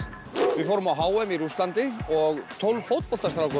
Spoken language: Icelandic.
við fórum á h m í Rússlandi og tólf